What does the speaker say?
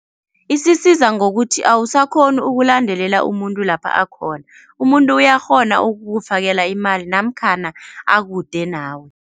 Isisiza ngokuthi awusakhoni ukulandelela umuntu lapha akhona, umuntu uyakghona ukukufakela imali namkhana akude nawe.